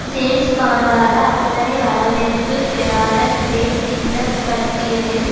ஜேம்ஸ்பாண்டாக அத்தனை வரவேற்பு பெறாத க்ரேக் இந்த பட்டியலில்